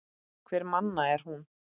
Hverra manna er hún?